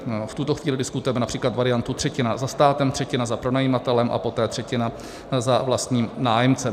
V tuto chvíli diskutujeme například variantu třetina za státem, třetina za pronajímatelem a poté třetina za vlastním nájemcem.